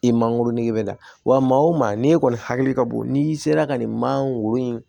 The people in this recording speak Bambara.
I mangoro nege bɛ a la wa maa o maa n'i kɔni hakili ka bon n'i sera ka nin man wo in